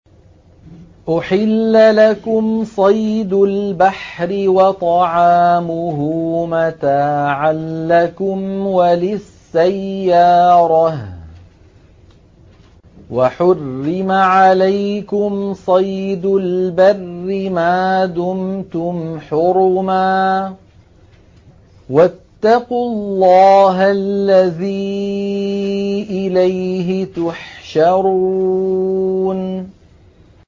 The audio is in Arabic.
أُحِلَّ لَكُمْ صَيْدُ الْبَحْرِ وَطَعَامُهُ مَتَاعًا لَّكُمْ وَلِلسَّيَّارَةِ ۖ وَحُرِّمَ عَلَيْكُمْ صَيْدُ الْبَرِّ مَا دُمْتُمْ حُرُمًا ۗ وَاتَّقُوا اللَّهَ الَّذِي إِلَيْهِ تُحْشَرُونَ